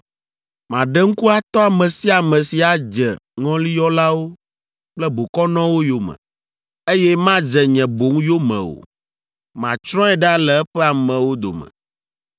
“ ‘Maɖe ŋku atɔ ame sia ame si adze ŋɔliyɔlawo kple bokɔnɔwo yome, eye madze nye boŋ yome o; matsrɔ̃e ɖa le eƒe amewo dome.